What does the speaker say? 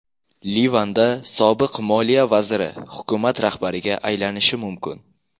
Livanda sobiq moliya vaziri hukumat rahbariga aylanishi mumkin.